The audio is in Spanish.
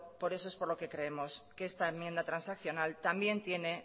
por eso es por lo que creemos que esta enmienda transaccional también tiene